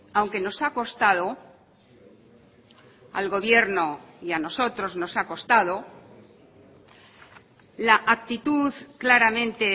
aunque nos ha costado al gobierno y a nosotros nos ha costado la actitud claramente